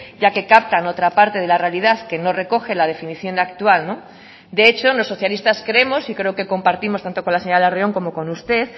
ya que captan otra parte de la realidad que no recoge la definición actual de hecho los socialistas creemos y creo que compartimos tanto con la señora larrion como con usted